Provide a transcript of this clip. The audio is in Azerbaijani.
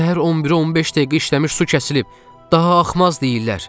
Səhər 11-ə 15 dəqiqə işləmiş su kəsilib, daha axmaz deyirlər.